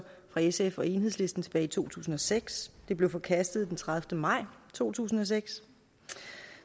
og sf og enhedslisten tilbage i to tusind og seks det blev forkastet den tredivete maj to tusind og seks